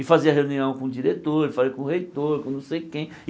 E fazia reunião com o diretor, com o reitor, com não sei quem.